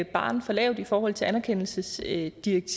barren for lavt i forhold til anerkendelsesdirektivet